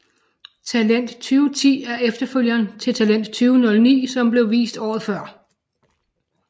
Talent 2010 er efterfølgeren til Talent 2009 som blev vist året før